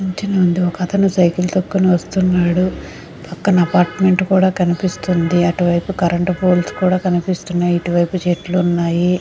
ఇంటి ముందు ఒక్క అతను సైకిల్ తోకను వస్తున్నాడు పక్కన అపార్ట్మెంట్ కూడా కనిపిస్తుంది అటు వైపు కరెంట్ పోల్స్ కూడా కనిపిస్తున్నాయి ఇటు వైపు చెట్లు ఉన్నాయా.